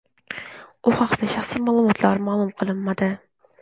U haqdagi shaxsiy ma’lumotlar ma’lum qilinmadi.